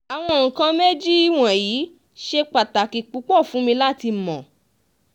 àwọn nǹkan méjì wọ̀nyí ṣe pàtàkì púpọ̀ fún mi láti mọ̀